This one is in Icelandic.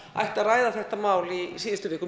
ætti að ræða þetta mál í síðustu viku